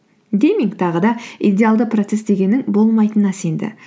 дейминг тағы да идеалды процесс дегеннің болмайтынына сенді